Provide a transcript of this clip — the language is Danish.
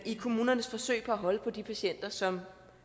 i kommunernes forsøg på at holde på de patienter som